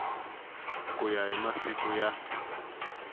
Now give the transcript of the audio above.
ku ya hi masiku ya